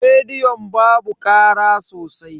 Rediyon babu kara sosai.